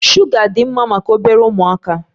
Shuga dị mma maka obere ụmụaka.